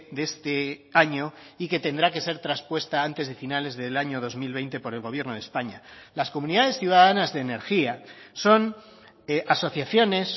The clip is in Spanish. de este año y que tendrá que ser traspuesta antes de finales del año dos mil veinte por el gobierno de españa las comunidades ciudadanas de energía son asociaciones